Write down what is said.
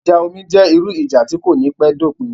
Ìjà omi jẹ́ irú ìjà tí kò ní pẹ́ dopin